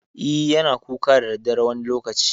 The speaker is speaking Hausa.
E, yana kuka da daddare wani lokaci.